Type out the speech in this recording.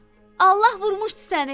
Allah vurmuşdu səni!